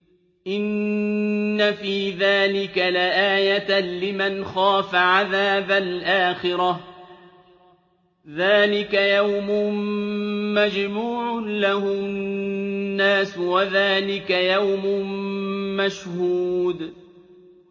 إِنَّ فِي ذَٰلِكَ لَآيَةً لِّمَنْ خَافَ عَذَابَ الْآخِرَةِ ۚ ذَٰلِكَ يَوْمٌ مَّجْمُوعٌ لَّهُ النَّاسُ وَذَٰلِكَ يَوْمٌ مَّشْهُودٌ